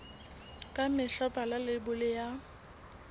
ka mehla bala leibole ya